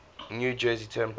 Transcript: new jersey turnpike